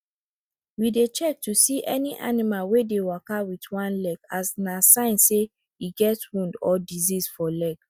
we dey check to see any animal wey dey waka wit one leg as na sign say e get wound or disease for leg